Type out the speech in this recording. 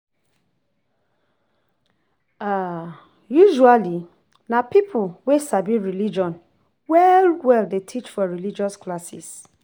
Usually na pipo wey sabi religion well well dey teach for religious classes